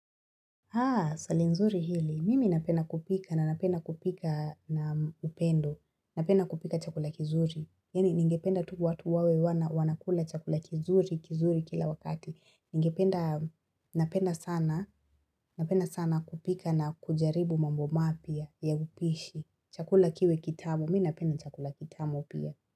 Swali nzuri hili mimi napenda kupika na napenda kupika na upendo napenda kupika chakula kizuri Yani ningependa tu watu wawe wanakula chakula kizuri kila wakati Ningependa napenda sana napenda sana kupika na kujaribu mambo mapya ya upishi Chakula kiwe kitamu mi napenda chakula kitamu pia.